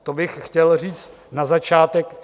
To bych chtěl říct na začátek.